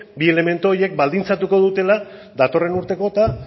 bi elementu horiek baldintzatuko dutela datorren urteko eta